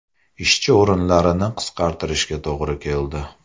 Ishchi o‘rinlarini qisqartirishga to‘g‘ri keldi.